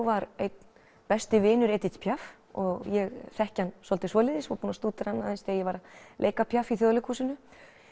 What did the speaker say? var einn besti vinur Edith Piaf og ég þekki hann svolítið svoleiðis og búinn að stúdera hann aðeins þegar ég var að leika Piaf í Þjóðleikhúsinu